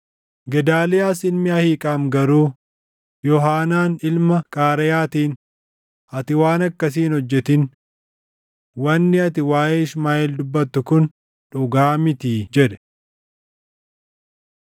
Gedaaliyaas ilmi Ahiiqaam garuu, Yoohaanaan ilma Qaareyaatiin, “Ati waan akkasii hin hojjetin! Wanni ati waaʼee Ishmaaʼeel dubbattu kun dhugaa mitii” jedhe.